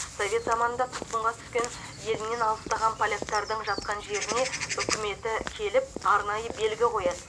совет заманында тұтқынға түскен елінен алыстаған поляктардың жатқан жеріне үкіметі келіп арнайы белгі қояды